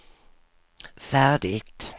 färdigt